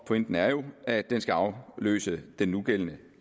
pointen er jo at den skal afløse den nugældende